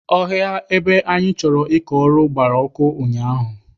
Ọhịa ebe anyị chọrọ ịkọ ọrụ gbara ọkụ ụnyaahụ.